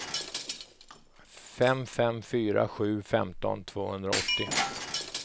fem fem fyra sju femton tvåhundraåttio